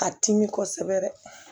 A timi kosɛbɛ yɛrɛ